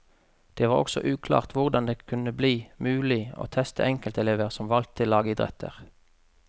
Det var også uklart hvordan det kunne bli mulig å teste enkeltelever som valgte lagidretter.